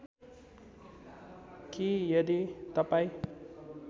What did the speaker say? कि यदि तपाईँ